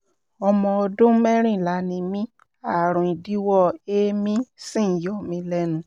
ọmọ ọdún mẹ́rìnlá ni mí ààrùn idíwọ́ èémí sì ń yọ mí lẹ́nu